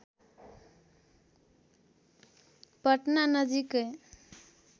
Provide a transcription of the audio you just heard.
पटना नजिकै